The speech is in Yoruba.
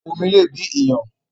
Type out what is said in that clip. ááwọ̀ omi le bí iyàn.